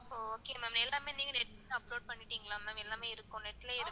அஹ் okay ma'am எல்லாமே நீங்க net ல upload பண்ணிட்டீங்களா ma'am? எல்லாமே இருக்கும் net லையே இருக்கும்